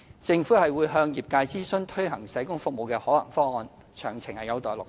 政府會向業界諮詢推行社工服務的可行方案，詳情有待落實。